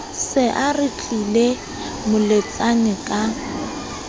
se a retlile moletsane ka